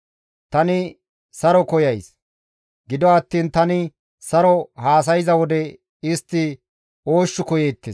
Tani saro koyays; gido attiin tani saro haasayza wode istti oosh koyeettes.